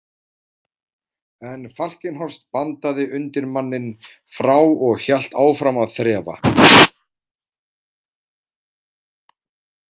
En Falkenhorst bandaði undirmanninn frá og hélt áfram að þrefa.